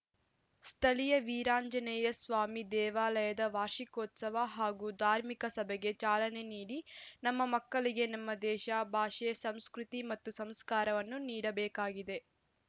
ಸ್ಥಳೀಯ ವೀರಾಂಜನೆಯ ಸ್ವಾಮಿ ದೇವಾಲಯದ ವಾರ್ಷಿಕೋತ್ಸವ ಹಾಗು ಧಾರ್ಮಿಕ ಸಭೆಗೆ ಚಾಲನೆ ನೀಡಿ ನಮ್ಮ ಮಕ್ಕಳಿಗೆ ನಮ್ಮ ದೇಶ ಭಾಷೆ ಸಂಸ್ಕೃತಿ ಮತ್ತು ಸಂಸ್ಕಾರವನ್ನು ನೀಡಬೇಕಾಗಿದೆ